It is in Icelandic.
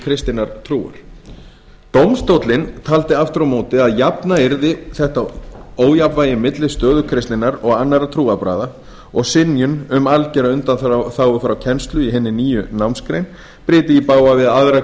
kristinnar trúar dómstóllinn taldi aftur á móti að jafna yrði þetta ójafnvægi milli stöðu kristninnar og annarra trúarbragða og synjun um algera undanþágu frá kennslu í hinni nýju námsgrein bryti í bága við aðra